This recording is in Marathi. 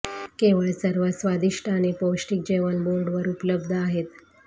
केवळ सर्वात स्वादिष्ट आणि पौष्टिक जेवण बोर्ड वर उपलब्ध आहेत